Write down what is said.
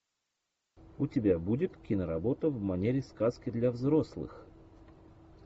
у тебя будет киноработа в манере сказки для взрослых